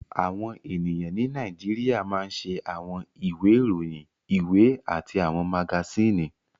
Àwọn ènìyàn ní Nàìjíríà máa ń ṣe àwọn ìwé ìròyìn, ìwé àti àwọn magasíìnì